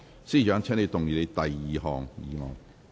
司長，請動議你的第二項議案。